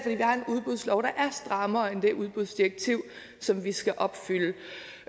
har en udbudslov der er strammere end det udbudsdirektiv som vi skal opfylde